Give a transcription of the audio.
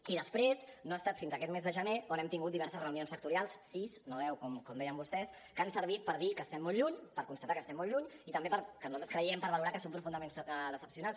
i després no ha estat fins a aquest mes de gener on hem tingut diverses reunions sectorials sis no deu com deien vostès que han servit per dir que estem molt lluny per constatar que estem molt lluny i també per nosaltres ho creiem valorar que són profundament decebedors